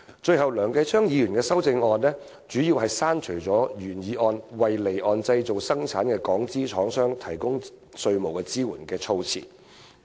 最後，梁繼昌議員的修正案主要刪除了原議案中"為離岸製造生產的港資廠商提供稅務支援"的措辭。